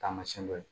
Taamasiyɛn dɔ ye